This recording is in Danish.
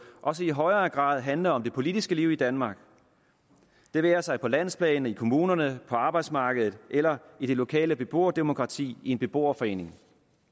også i højere grad handle om det politiske liv i danmark det være sig på landsplan i kommunerne på arbejdsmarkedet eller i det lokale beboerdemokrati i en beboerforening